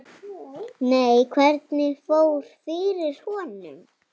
Nei, hvernig fór fyrir honum?